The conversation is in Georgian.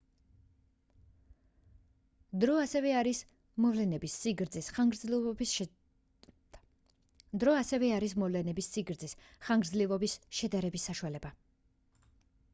დრო ასევე არის მოვლენების სიგრძის ხანგრძლივობის შედარების საშუალება